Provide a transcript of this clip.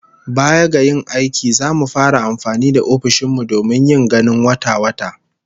Baya ga yin aiki, zamu fara amfani da ofishin mu domin yin ganin wata-wata